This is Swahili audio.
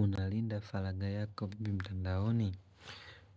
Unalinda falaga yako vibi mtandaoni?